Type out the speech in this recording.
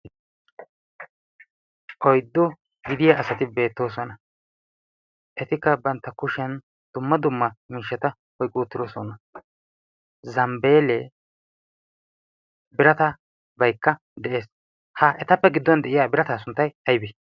oiddo gidiyaa asati beettoosona etikka bantta kushiyan dumma dumma miishshata oiqoottiroosona zambbeelee biratabaykka de'ees ha etappe giddon de'iya birata sunttay aybe